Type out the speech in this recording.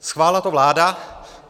Schválila to vláda.